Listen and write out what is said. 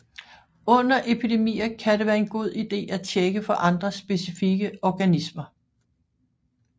Under epidemier kan det være en god ide at tjekke for andre specifikke organismer